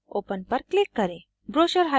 file पर जाएँ open पर click करें